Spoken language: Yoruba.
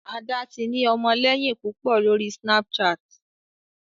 Ada tí ni ọmọléyìn púpọ lórí Snapchat